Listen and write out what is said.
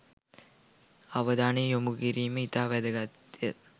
අවධානය යොමු කිරිම ඉතා වැදගත්ය.